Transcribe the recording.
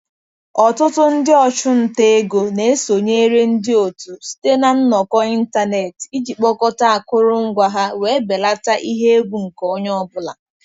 Ọtụtụ ndị ọchụnta ego na-esonyere ndị otu site na nnọkọ ịntanetị iji kpokọta akụrụngwa ha wee belata ihe egwu nke onye ọ bụla.